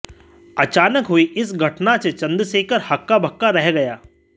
अचानक हुई इस घटना से चंद्रशेखर हक्काबक्का रह गया